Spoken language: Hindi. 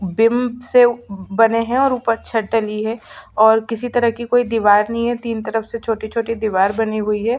बिम से बने है और ऊपर छत डली और किसी तरह की कोई दीवार नहीं हैं। तीन तरफ से छोटी- छोटी दीवार बनी हुई है ।